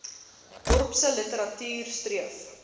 dorpse literatuur streef